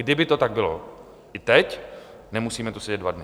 Kdyby to tak bylo i teď, nemusíme tu sedět dva dny.